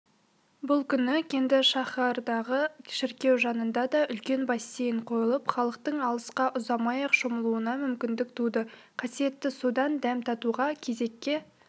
бұл күні кенді шаһардағы шіркеу жанына да үлкен бассейн қойылып халықтың алысқа ұзамай-ақ шомылуына мүмкіндік туды қасиетті судан дәм татуға кезекке